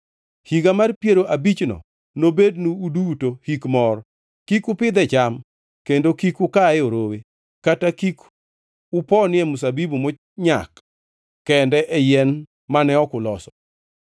Higa mar piero abichno nobednu uduto hik mor, kik upidhe cham, kendo kik ukaye orowe, kata kik uponie mzabibu monyak kende e yien mane ok uloso.